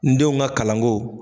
N denw ka kalanko.